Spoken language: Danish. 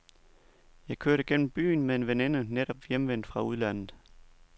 Jeg kørte gennem byen med en veninde netop hjemvendt fra udlandet.